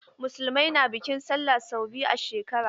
Musulmai na da bikin sallah sau biyu a shekara.